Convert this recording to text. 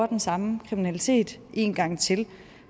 den samme kriminalitet en gang til